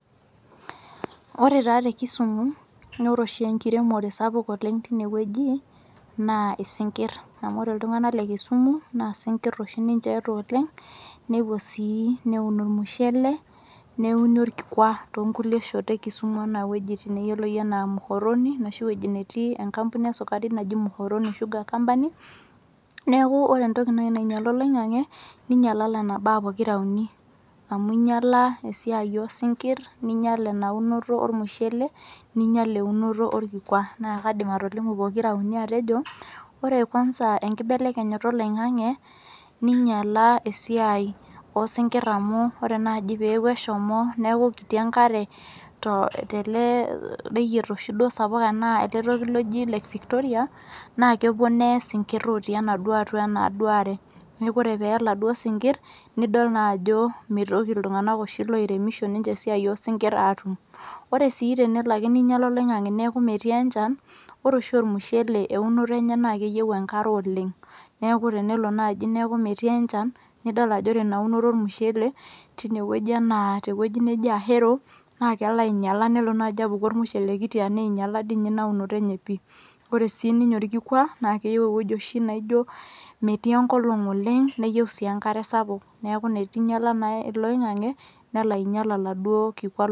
Ore taa te kisumu nore oshi enkiremore sapuk oleng tinewueji naa isinkirr amu ore iltung'anak le kisumu naa isinkirr oshi ninche eeeta oleng nepuo sii neun ormushele neuni orkikwa tonkulie shot e kisumu enaa wuejitin neyioloi enaa muhoroni noshi wuejitin netii enkampuni eskurai naji muhoroni sugar company neku ore naaji entoki nainyiala oloing'ang'e ninyiala nena baa pokira uni amu inyiala esiai osinkirr ninyial ina unoto ormushele ninyial eunoto orkikwa naa kaidim atolimu pokira uni atejo ore kwanza enkibelekenyata oloing'ang'e ninyiala esiai osinkirr amu ore naaji peeku eshomo neku kiti enkare to tele reyiet oshi duo sapuk anaa ele toki loji lake victoria naa kepuo neye isinkirr otii enaduo are atua enaduo are neku ore peye iladuo sinkirr nidol naa ajo mitoki iltung'anak oshi loiremisho ninche esiai osinkirr atum ore sii tenelo ake ninyiala oloing'ang'e neku metii enchan ore oshi ormushele eunoto enye naa keyieu enkare oleng beku tenelo naaji neku metii enchan nidol ajo ore ina unoto ormushele tinewueji enaa tewueji neji ahero naa kelo ainyiala nelo naaji apuku ormushele kiti anaa einyiala dii ninye ina unoto enye pii ore sininye orkikwa naa keyieu ewueji oshi naijio metii enkolong oleg neyieu sii enkare sapuk neku netu inyiala naa ilo oing'ang'e nelo ainyial oladuo kikwa.